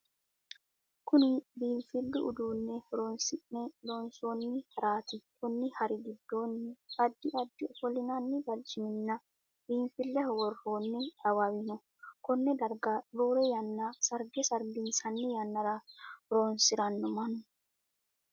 Kunni biinfilu uduunne horoonsi'ne loonsoonni haraati konni hari gidoonni addi addi ofolinnanni barciminna biinfileho woroonni awawino konne darga roore yanna sarge sarginsanni yannara horoonsirano mannu.